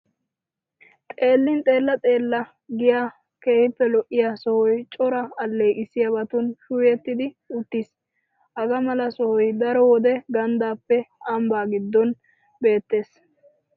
Xeellin xeella leella giya keehippe lo'iya sohoy cora alleeqissiyobatun shuuyettid uttiis. Hagaa mala sohoy daro wode ganddaappe ambbaa giddon beettees.